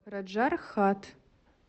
раджархат